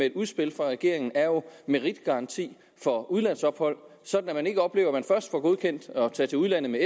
et udspil fra regeringen er jo meritgaranti for udlandsophold sådan at man ikke oplever at man først får godkendt at tage til udlandet med